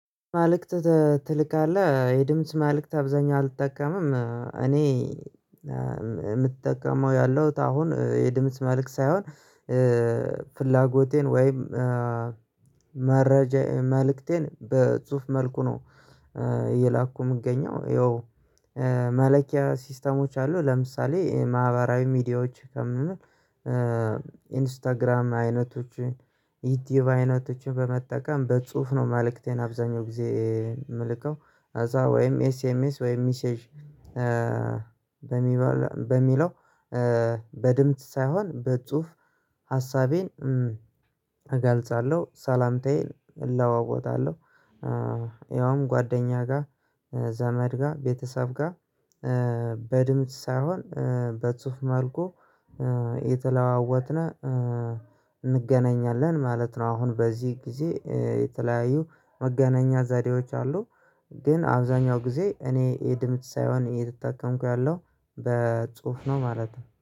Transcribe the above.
መልእክት ትልካለህ የድምጽ ማልክት አብዛኛው አልጠቀምም እኔ የምጠቀመው ያለሁት አሁን የድምጽ መልእክት ሳይሆን ፍላጎቴን ወይም መረጃ መልእክቴን በጽሁፍ መልኩ ነው። እየላኩ የምገኘው ይኸው። መላኪያ ሲስተሞች አሉ ለምሳሌ የማህበራዊ ሚዲያዎች ከምንም ኢንስታግራም አይነቶችን ዩቲዩብ አይነቶችን በመጠቀም በጽሁፍ ነው መልእክቴን አብዛኛው ጊዜ የምልከው። ከዛ ወይም ኤስኤምኤስ ወይም ሚሴጅ በሚባል በሚለው በድምጽ ሳይሆን በጽሁፍ ሀሳቤን እገልጻለሁ። ሰላምታዬን እለዋወጣለሁ ከየትኛውም ጓደኛ ጋር ዘመድ ጋር ቤተሰብ ጋር። በድምጽ ሳይሆን በጽሁፍ መልኩ የተለዋወጥነ እንገናኛለን ማለት ነው። አሁን በዚህ ጊዜ የተለያዩ መገናኛ ዘዴዎች አሉ። ግን አብዛኛው ጊዜ እኔ የድምጽ ሳይሆን የተጠቀምኩ ያለው በጽሁፍ ነው ማለት ነው